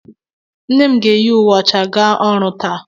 Nne m ga-eyi uwe ọcha gaa ọrụ taa.